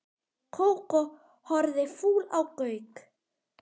Kókó horfði fúl á Gauk.